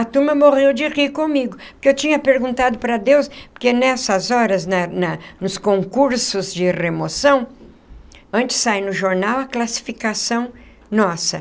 A turma morreu de rir comigo, porque eu tinha perguntado para Deus, porque nessas horas, na na nos concursos de remoção, antes sai no jornal a classificação nossa.